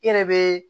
I yɛrɛ be